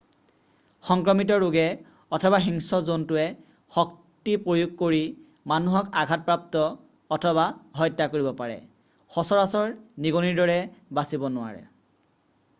সংক্ৰমিত ৰোগে অথবা হিংস্ৰ জন্তুৱে শক্তি প্ৰয়োগ কৰি মানুহক আঘাতপ্ৰাপ্ত অথবা হত্যা কৰিব পাৰে সচৰাচৰ নিগনিৰ দৰে বাচিব নোৱাৰে